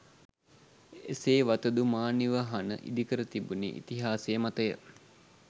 එසේ වතුදු මා නිවහන ඉදිකර තිබුණේ ඉතිහාසය මතය